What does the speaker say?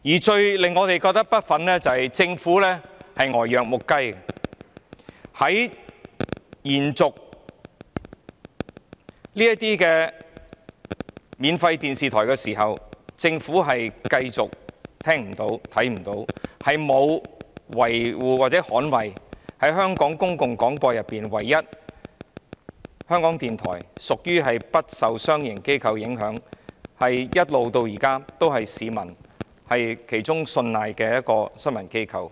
最令我們感到不忿的是政府呆若木雞，在延續這些免費電視台的牌照時，政府繼續聽不到、看不到，沒有捍衞在香港公共廣播中唯一不受商營機構影響的港台，它至今仍是市民信賴的其中一個新聞機構。